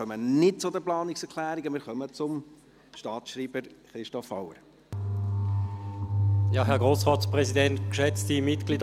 Wir kommen nicht zu den Planungserklärungen, sondern zum Staatsschreiber, Christoph Auer.